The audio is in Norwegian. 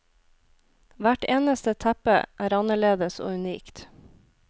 Hvert eneste teppe er annerledes og unikt.